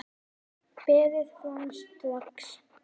Berið fram strax.